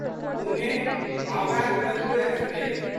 Pune Howrah Duronto express